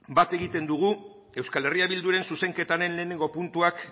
bat egiten dugu euskal herrian bilduren zuzenketaren lehenengo puntuak